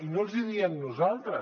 i no els hi diem nosaltres